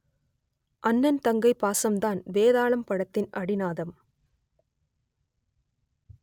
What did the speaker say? அண்ணன் தங்கை பாசம்தான் வேதாளம் படத்தின் அடிநாதம்